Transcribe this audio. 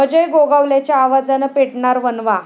अजय गोगावलेच्या आवाजानं पेटणार 'वणवा'